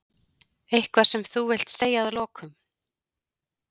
Eitthvað sem þú vilt segja að lokum?